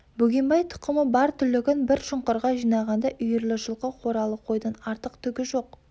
бөгенбай тұқымы бар түлігін бір шұңқырға жинағанда үйірлі жылқы қоралы қойдан артық түгі жоқ